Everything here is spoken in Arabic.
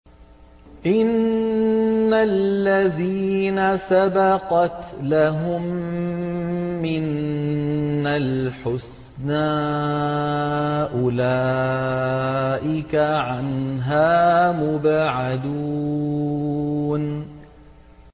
إِنَّ الَّذِينَ سَبَقَتْ لَهُم مِّنَّا الْحُسْنَىٰ أُولَٰئِكَ عَنْهَا مُبْعَدُونَ